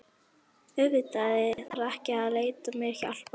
Auðvitað þarf ég ekki að leita mér hjálpar.